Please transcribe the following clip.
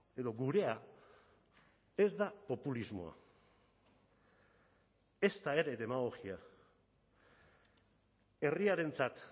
edo gurea ez da populismoa ezta ere demagogia herriarentzat